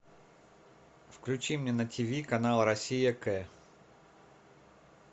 включи мне на тиви канал россия к